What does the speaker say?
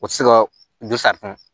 O tɛ se ka don